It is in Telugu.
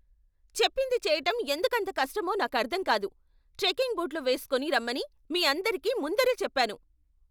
చెప్పింది చెయ్యటం ఎందుకంత కష్టమో నాకర్ధం కాదు. ట్రెకింగ్ బూట్లు వేస్కొని రమ్మని మీ అందరికీ ముందరే చెప్పాను.